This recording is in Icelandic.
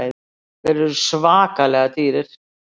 Þeir eru svakalega dýrir.